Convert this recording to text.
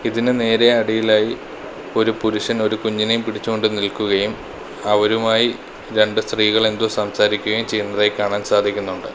ഇതിനു നേരെ അടിയിലായി ഒരു പുരുഷൻ ഒരു കുഞ്ഞിനെയും പിടിച്ചു കൊണ്ട് നിൽക്കുകയും അവരുമായി രണ്ട് സ്ത്രീകൾ എന്തോ സംസാരിക്കുകയും ചെയ്യുന്നതായി കാണാൻ സാധിക്കുന്നുണ്ട്.